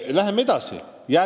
Läheme edasi!